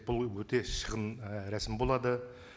бұл өте шығын ііі рәсім болады